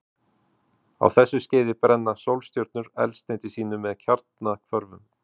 Á þessu skeiði brenna sólstjörnur eldsneyti sínu með kjarnahvörfum.